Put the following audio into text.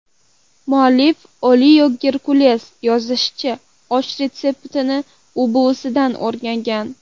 Muallif Oliya Gerkules yozishicha, osh retseptini u buvisidan o‘rgangan.